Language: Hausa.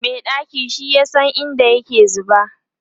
Mai ɗaki shi yasa in da yake zuba